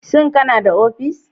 Shin kana da ofis.